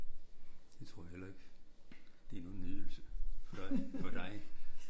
Det tror jeg heller ikke det er nogen nydelse for dig for dig